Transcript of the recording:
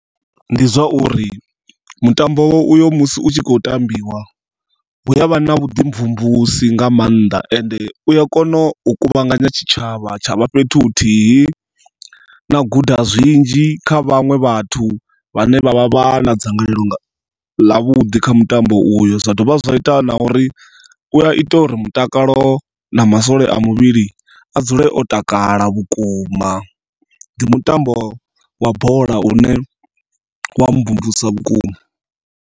Ndi zwauri mutambo oyo musi utshi kho tambiwa hu yavha na vhuḓi mvumvusi nga maanḓa ende uya kona u kuvhanganya tshitshavha tshavha fhethu huthihi, na guda zwinzhi kha vhaṅwe vhathu vhane vha vha na dzangalelo nga ḽa vhuḓi kha mutambo uyo zwa dovha zwa ita na uri mutakalo na masole a muvhili a dzule o takala vhukuma. Ndi mutambo wa bola une wa mvumvusa vhukuma.